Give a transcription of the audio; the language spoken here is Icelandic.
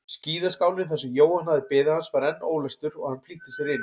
Skíðaskálinn þar sem Jóhann hafði beðið hans var enn ólæstur og hann flýtti sér inn.